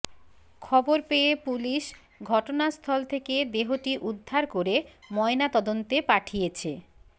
খবর পেয়ে পুলিশ ঘটনাস্থল থেকে দেহটি উদ্ধার করে ময়না তদন্তে পাঠিয়েছে